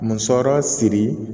Musɔrɔ siri